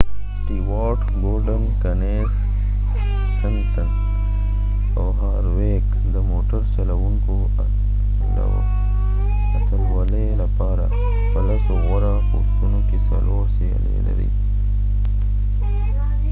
سټيوارټ ګورډن کینسنت او هارویک د موټر چلوونکو اتلولۍ لپاره په لسو غوره پوستونو کې څلور سیالۍ لري